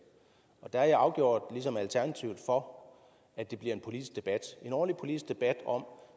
og der er jeg afgjort for at det bliver en politisk debat en ordentlig politisk debat om